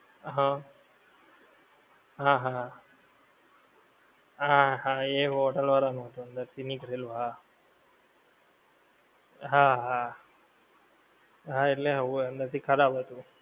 હં હા હા. હા હા. હા હા એ હોટેલ વાળાં નું હતું અંદર થી નીકળેલું હા. હા હા. હા એટલે હોવે અંદર થી ખરાબ હતું.